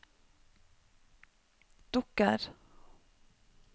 dukker